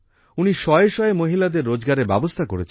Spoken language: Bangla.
উনি শয়ে শয়ে মহিলাদের রোজগারের ব্যবস্থা করেছেন